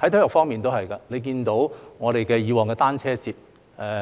在體育方面也是一樣，大家看到以往的香港單車節，